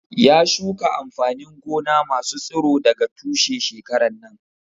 Ya shuka amfanin gona masu tsiro daga tushe shekaran nan